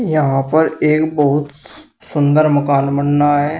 यहां पर एक बहुत सुंदर मकान बन रहा है।